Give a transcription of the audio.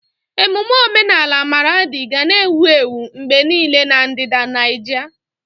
Ememme omenala Maradi ga na-ewu ewu mgbe niile na ndịda Nijia.